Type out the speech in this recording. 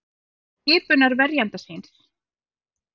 Krefst skipunar verjanda síns